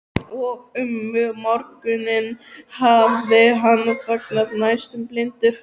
Og um morguninn hafði hann vaknað næstum blindur.